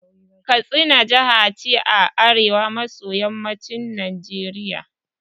Katsina jaha ce a arewa maso yammacin Najeriya